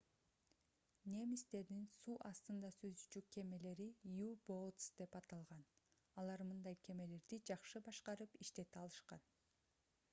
немистердин суу астында cүзүүчү кемелери u-boats деп аталган. алар мындай кемелерди жакшы башкарып иштете алышкан